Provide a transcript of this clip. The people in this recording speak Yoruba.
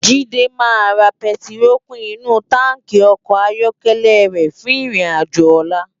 Jide má rá pètiró kún inú tànkí òkò áyòkèlè rè fún irin àjó òlá